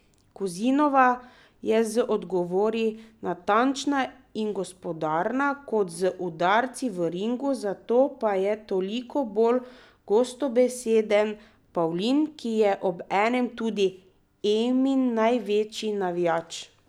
Kozinova je z odgovori natančna in gospodarna, kot z udarci v ringu, zato pa je toliko bolj gostobeseden Pavlin, ki je obenem tudi Emin največji navijač.